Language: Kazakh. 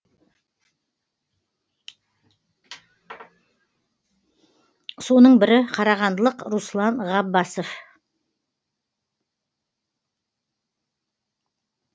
соның бірі қарағандылық руслан ғаббасов